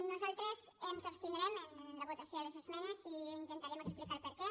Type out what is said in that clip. nosaltres ens abstindrem en la votació de les esmenes i intentarem explicarne el perquè